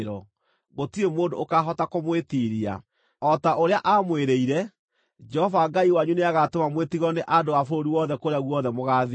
Gũtirĩ mũndũ ũkaahota kũmwĩtiiria. O ta ũrĩa aamwĩrĩire, Jehova Ngai wanyu nĩagatũma mwĩtigĩrwo nĩ andũ a bũrũri wothe kũrĩa guothe mũgaathiĩ.